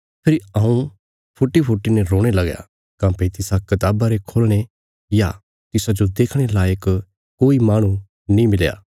फेरी हऊँ फूटीफूटी ने रोणे लगया काँह्भई तिसा कताबा रे खोलणे या तिसाजो देखणे लायक कोई माहणु नीं मिलया